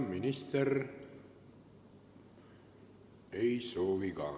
Minister ei soovi ka.